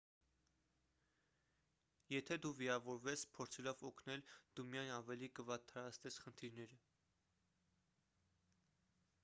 եթե դու վիրավորվես փորձելով օգնել դու միայն ավելի կվատթարացնես խնդիրները